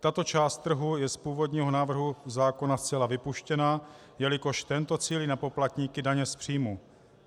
Tato část trhu je z původního návrhu zákona zcela vypuštěna, jelikož tento cílí na poplatníky daně z příjmu.